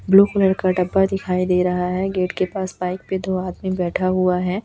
Blue colour का डब्बा दिखाई दे रहा है गेट के पास बाइक पे दो आदमी बैठा हुआ है।